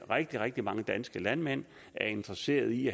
rigtig rigtig mange danske landmænd er interesserede i